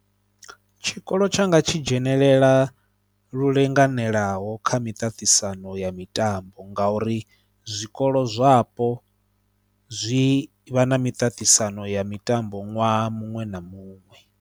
Tshikolo tshanga tshi dzhenelela lu linganelaho kha miṱaṱisano ya mitambo ngauri zwikolo zwapo zwi vha na miṱaṱisano ya mitambo ṅwaha muṅwe na muṅwe.